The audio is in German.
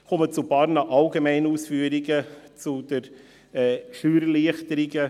Ich komme zu einigen allgemeinen Ausführungen zu den Steuererleichterungen.